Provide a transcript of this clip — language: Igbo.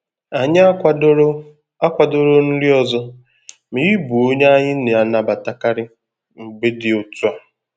Anyị akwadoro akwadoro nri ọzọ, ma ị bụ onye anyị na-anabatakarị mgbe dị otú a.